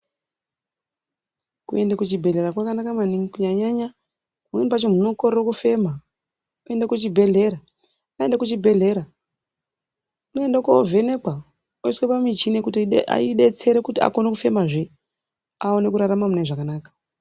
Kuenda kuchibhedhlera kwakanaka maningi kunyanya-nyanya pamweni pacho muntu unokorera kufema unoende kuchibhedhlera. Aende kuchibhedhlera unoende kovhenekwa otore muchini kuti ibetsere kuti ukone kufemazve aone kurarama mune zvakanaka.